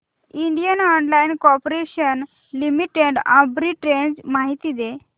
Indian oil corporation limited arbitrage माहिती दे